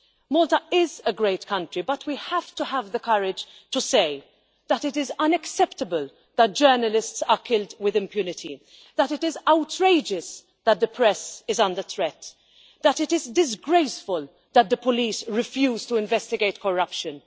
Malta is a great country, but we have to have the courage to say that it is unacceptable that journalists are killed with impunity, that it is outrageous that the press is under threat, and that it is disgraceful that the police refuse to investigate corruption.